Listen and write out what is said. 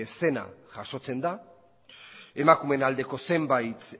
zena jasotzen da emakumeen aldeko zenbait